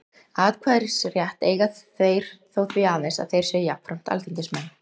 Atkvæðisrétt eiga þeir þó því aðeins, að þeir séu jafnframt alþingismenn.